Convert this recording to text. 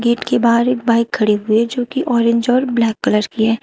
Gate के बाहर एक बाइक खड़ी हुई है जोकि ऑरेंज और ब्लैक कलर की है।